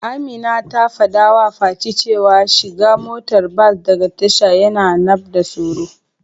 Amina ta fadawa fati cewa shiga motar bas daga tasha yana nmda tsaro.